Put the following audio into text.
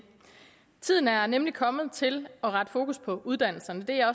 tiden er nemlig kommet til at rette fokus mod uddannelserne det er